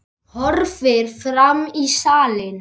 Horfir fram í salinn.